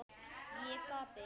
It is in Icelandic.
Ég gapi.